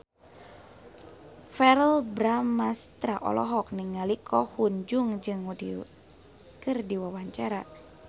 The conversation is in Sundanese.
Verrell Bramastra olohok ningali Ko Hyun Jung keur diwawancara